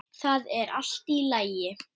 Það er allt í lagi